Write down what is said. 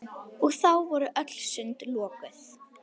Og þá voru öll sund lokuð!